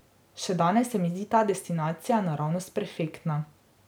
Še danes se mi zdi ta destinacija naravnost perfektna.